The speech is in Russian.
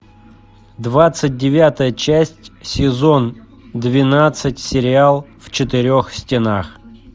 двадцать девятая часть сезон двенадцать сериал в четырех стенах